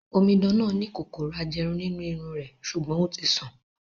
Omidan náà ni kòkòrò ajẹrun nínú irun rẹ̀, sùgbón ó ti sàn